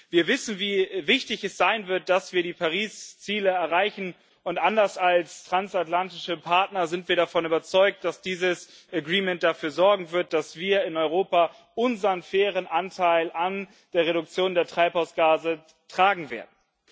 Wir wissen, wie wichtig es sein wird, dass wir die Paris Ziele erreichen, und anders als transatlantische Partner sind wir davon überzeugt, dass dieses Agreement dafür sorgen wird, dass wir in Europa unseren fairen Anteil an der Reduktion der Treibhausgase tragen werden.